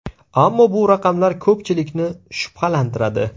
Ammo bu raqamlar ko‘pchilikni shubhalantiradi.